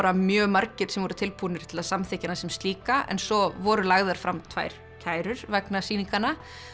mjög margir sem voru tilbúnir til að samþykkja hana sem slíka en svo voru lagðar fram tvær kærur vegna sýninganna